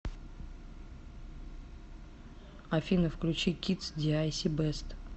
афина включи кидс диайси бест